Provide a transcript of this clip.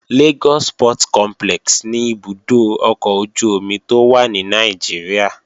Lagos Port Complex ni ibùdó ọkọ̀ ojú-omi tó wà ní Nàìjíríà